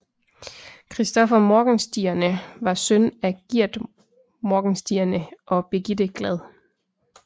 Christopher Morgenstierne var søn af Giert Morgenstierne og Birgitte Glad